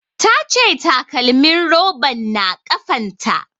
Ta ce takalmin roban na kafan ta